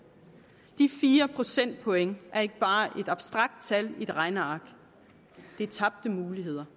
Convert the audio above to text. de fire procentpoint er ikke bare et abstrakt tal i et regneark men tabte muligheder